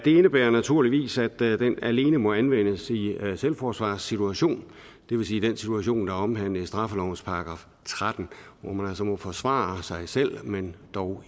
indebærer naturligvis at den alene må anvendes i en selvforsvarssituation det vil sige den situation der er omhandlet af straffelovens § tretten hvor man altså må forsvare sig selv men dog